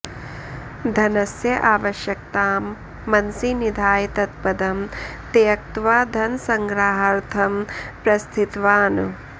धनस्य आवश्यकतां मनसि निधाय तत्पदं त्यक्त्वा धनसङ्ग्रहार्थं प्रस्थितवान्